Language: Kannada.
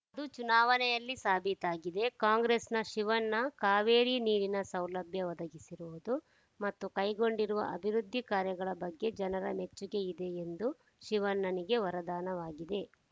ಅದು ಚುನಾವಣೆಯಲ್ಲಿ ಸಾಬೀತಾಗಿದೆ ಕಾಂಗ್ರೆಸ್‌ನ ಶಿವಣ್ಣ ಕಾವೇರಿ ನೀರಿನ ಸೌಲಭ್ಯ ಒದಗಿಸಿರುವುದು ಮತ್ತು ಕೈಗೊಂಡಿರುವ ಅಭಿವೃದ್ಧಿ ಕಾರ್ಯಗಳ ಬಗ್ಗೆ ಜನರ ಮೆಚ್ಚುಗೆ ಇದೆ ಎಂದು ಶಿವಣ್ಣನಿಗೆ ವರದಾನವಾಗಿದೆ